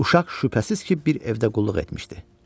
Uşaq şübhəsiz ki, bir evdə qulluq etmişdi.